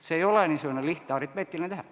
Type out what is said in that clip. See ei ole lihtne aritmeetiline tehe.